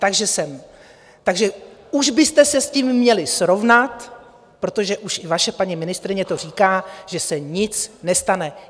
Takže už byste se s tím měli srovnat, protože už i vaše paní ministryně to říká, že se nic nestane.